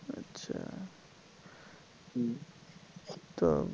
আচ্ছা তো